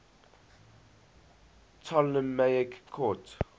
ptolemaic court